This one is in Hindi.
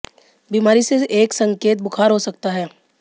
बीमारी से एक संकेत बुखार हो सकता है